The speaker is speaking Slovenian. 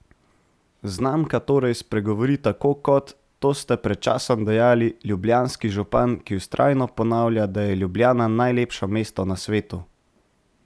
Znamka torej spregovori tako kot, to ste pred časom dejali, ljubljanski župan, ki vztrajno ponavlja, da je Ljubljana najlepše mesto na svetu?